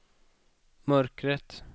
mörkret